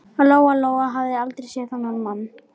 Lóa Lóa hafði aldrei séð þennan mann.